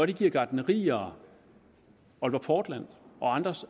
det giver gartnerier aalborg portland og andre